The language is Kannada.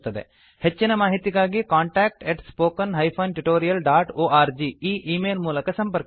ಹೆಚ್ಚಿನ ಮಾಹಿತಿಗಾಗಿ contactspoken tutorialorg ಈ ಈ ಮೇಲ್ ಮೂಲಕ ಸಂಪರ್ಕಿಸಿ